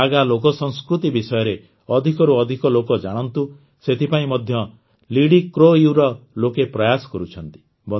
ନାଗା ଲୋକସଂସ୍କୃତି ବିଷୟରେ ଅଧିକରୁ ଅଧିକ ଲୋକ ଜାଣନ୍ତୁ ସେଥିପାଇଁ ମଧ୍ୟ ଲିଡିକ୍ରୋୟୁ ର ଲୋକେ ପ୍ରୟାସ କରୁଛନ୍ତି